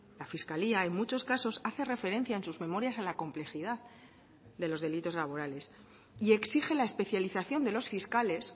la fiscalía en muchos casos hace referencia en sus memorias a la complejidad de los delitos laborales y exige la especialización de los fiscales